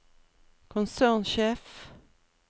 konsernsjef